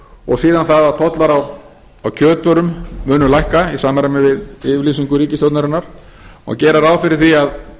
og síðan það að tollar á kjötvörum munu lækka í samræmi við yfirlýsingu ríkisstjórnarinnar má gera ráð fyrir því að